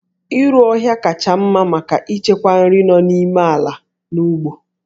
Iru ọhịa kacha mma maka ichekwa nri nọ n'ime ala n'ugbo